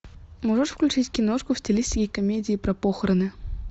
можешь включить киношку в стилистике комедии про похороны